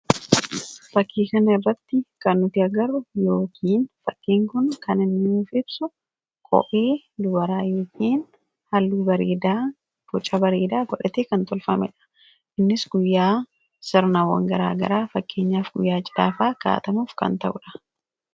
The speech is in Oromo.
Fakkii kana irratti kan nuti agarru yookiin fakkiin Kun kan inni nuuf ibsu kophee dubaraa yookiin halluu bareedaa, boca bareedaa godhatee kan tolfamedha. Innis guyyaa sirnaawwan garaagaraa; fakkeenyaaf guyyaa cidhaa fa'aa kaawwatamuuf ta'udha.